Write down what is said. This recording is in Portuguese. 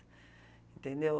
Entendeu?